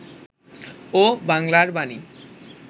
ও 'বাংলার বাণী'